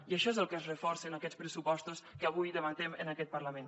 i això és el que es reforça en aquests pressupostos que avui debatem en aquest parlament